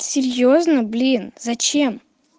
серьёзно блин зачем